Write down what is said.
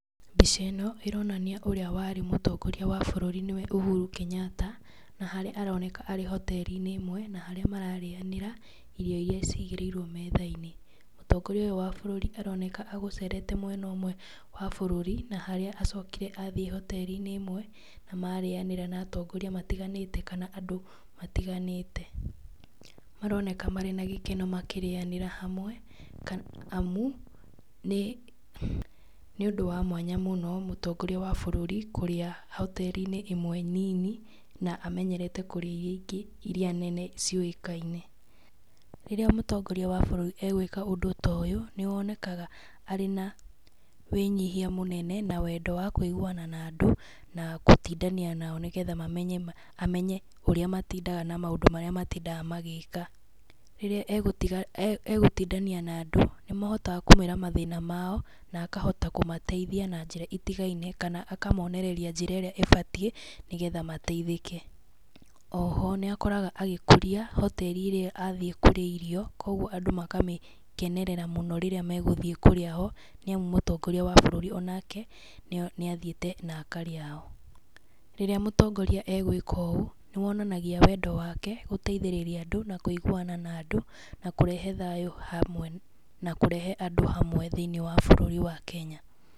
Mbica ĩno ĩronania ũrĩa warĩ mũtongoria wa bũrũri nĩwe Uhuru Kenyatta, na harĩa aroneka arĩ hoteri-inĩ ĩmwe, na harĩa mararĩanĩra irio iria cigĩrĩirwo metha-inĩ, mũtongoria ũyũ wa bũrũri aroneka agũcerete mwena ũmwe wa bũrũri na harĩa acokire athiĩ hoteri-inĩ ĩmwe, na marĩanĩra na atongoria matiganĩte kana andũ matiganĩte. Maroneka marĩ na gĩkeno makĩrĩanĩra hamwe amu nĩ nĩ ũndũ wa mwanya mũno mũtongoria wa bũrũri kũrĩa hoteri-inĩ ĩmwe nini na amenyerete kũrĩa iria ingĩ iria nene ciũĩkaine. Rĩrĩa mũtongoria wa bũrũri agwĩka ũndũ ta ũyũ, nĩ wonekaga arĩ na wĩnyihia mũnene, na wendo wa kũiguana na andũ na gũtindania nao nĩgetha mamenye amenye ũrĩa matindaga na maũndũ marĩa matindaga magĩka. Rĩrĩa egũtiga egũtindania na andũ, nĩ mahotaga kũmwĩra mathĩna mao, na akahota kũmateithia na njĩra itigaine kana akamonereria njĩra ĩrĩa ĩbatie, nĩgetha mateithĩke. Oho nĩakoraga agĩkũria hoteri ĩrĩa athiĩ kũrĩa irio, koguo andũ makamĩkenerera mũno rĩrĩa megũthiĩ kũrĩa ho nĩ amu mũtongoria wa bũrũri onake, nĩ athiĩte na akarĩa ho. Rĩrĩa mũtongoria agwĩka ũũ, nĩ wonanagia wendo wake gũteithĩrĩria andũ, na kũiguana na andũ, na kũrehe thayũ hamwe na kũrehe andũ hamwe thĩiniĩ wa bũrũri wa Kenya.